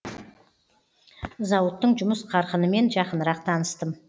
зауыттың жұмыс қарқынымен жақынырақ таныстым